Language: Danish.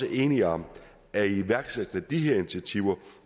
er enige om at iværksættelsen af de her initiativer